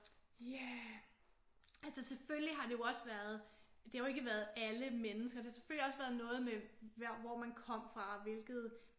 Ja altså selvfølgelig har det jo også været det har jo ikke været alle mennesker. Det har selvfølgelig også været noget med hvor man kom fra og hvilket